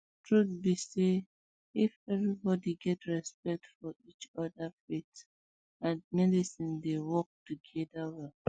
truth um be say if everybody get respect for um each other faith and medicine dey work together well